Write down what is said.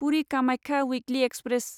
पुरि कामाख्या उइक्लि एक्सप्रेस